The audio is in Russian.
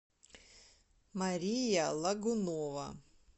мария лагунова